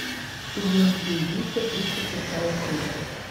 дублинские убийства тридцать шестая серия